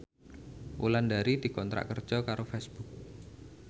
Wulandari dikontrak kerja karo Facebook